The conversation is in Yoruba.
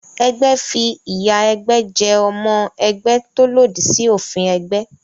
Ẹgbẹ́ fi ìyà ẹgbẹ́ jẹ ọmọ ẹgbẹ́ tó lòdì sí òfin ẹgbẹ́